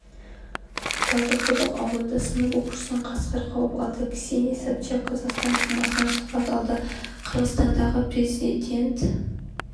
талдықұдық ауылында сынып оқушысын қасқыр қауып алды ксения собчак қазақстан тумасынан сұхбат алды қырғызстандағы президент